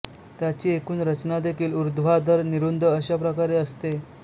त्याची एकूण रचनादेखील उर्ध्वाधर निरुंद अश्या प्रकारे असते